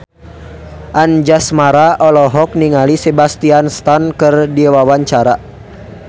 Anjasmara olohok ningali Sebastian Stan keur diwawancara